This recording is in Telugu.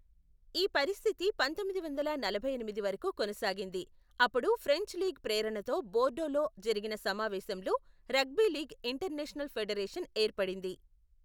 ఈ పరిస్థితి పంతొమ్మిది వందల నలభై ఎనిమిది వరకు కొనసాగింది, అప్పుడు ఫ్రెంచ్ లీగ్ ప్రేరణతో బోర్డోలో జరిగిన సమావేశంలో రగ్బీ లీగ్ ఇంటర్నేషనల్ ఫెడరేషన్ ఏర్పడింది.